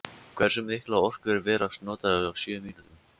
Hversu mikla orku er verið að nota á sjö mínútum?